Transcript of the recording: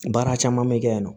Baara caman bɛ kɛ yen nɔ